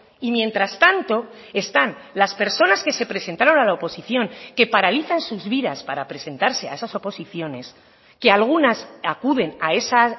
y mientras tanto están las personas que se presentaron a la oposición que paralizan sus vidas para presentarse a esas oposiciones que algunas acuden a esa